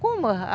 Como?